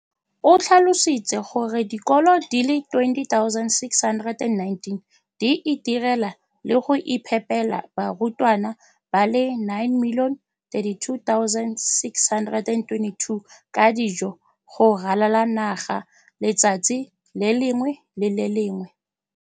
O tlhalositse gore dikolo di le 20 619 di itirela le go iphepela barutwana ba le 9 032 622 ka dijo go ralala naga letsatsi le lengwe le le lengwe.